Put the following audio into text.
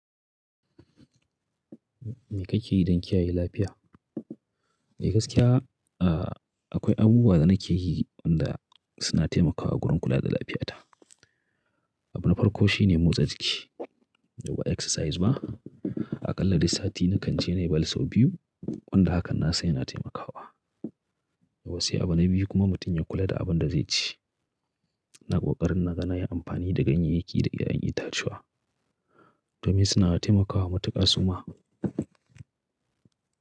Me kake yi don kiyaye lafiya? Eh gaskiya, a, akwai abubuwa da nake yi wanda suna taimakawa gurin kula da lafiya ta. Abu na farko shi ne motsa jiki, duba exercise ma. Aƙalla duk sati nakan je na yi ball sau biyu, wanda hakan na san yana taimakawa. Yawwa sai abu na biyu kuma mutum ya kula da abun da zai ci. Ina ƙoƙarin na ga na yi amfani da ganyeyyaki da ƴaƴan itacuwa, domin suna taimakawa matuƙa suma.